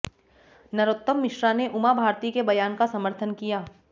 नरोत्तम मिश्रा ने उमा भारती के बयान का समर्थन किया